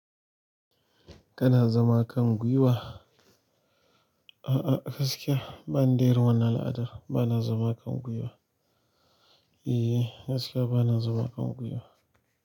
Kana zama kan gwiwa? A'a gaskiya bani da irin wannan al'ada bana zama kan gwiwa. Eh gaskiya bana zama kan gwiwa.